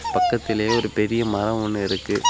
பக்கத்திலேயே ஒரு பெரிய மரோ ஒன்னு இருக்கு.